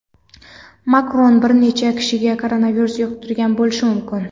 Makron bir necha kishiga koronavirus yuqtirgan bo‘lishi mumkin.